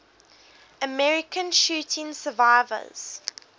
american shooting survivors